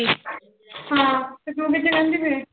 ਹਾਂ ਤੇ ਤੂੰ ਕਿੱਥੇ ਕਹਿੰਦੀ ਪਈ।